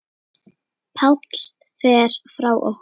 Páll fer frá okkur.